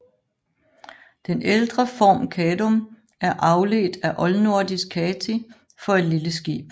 Den ældre form Kadum er afledt af oldnordisk kati for et lille skib